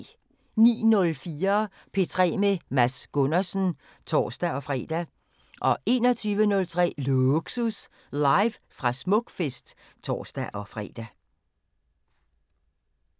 09:04: P3 med Mads Gundersen (tor-fre) 21:03: Lågsus – live fra Smukfest (tor-fre)